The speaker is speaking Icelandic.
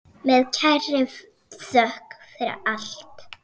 Með kærri þökk fyrir allt.